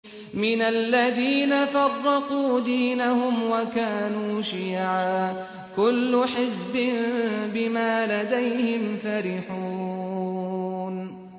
مِنَ الَّذِينَ فَرَّقُوا دِينَهُمْ وَكَانُوا شِيَعًا ۖ كُلُّ حِزْبٍ بِمَا لَدَيْهِمْ فَرِحُونَ